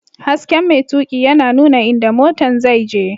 Hasken mai tuƙi yana nuna inda motan zai je.